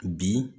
Bi